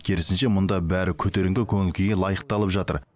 керісінше мұнда бәрі көтеріңкі көңіл күйге лайықталып жатыр